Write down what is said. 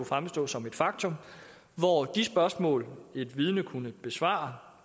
fremstå som et faktum de spørgsmål et vidne ville kunne besvare